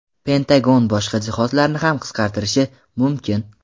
Pentagon boshqa jihozlarni ham qisqartirishi mumkin.